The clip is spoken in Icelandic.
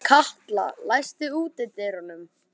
Katla, læstu útidyrunum.